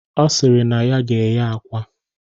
Ọ sịrị na ya ga-eghe akwa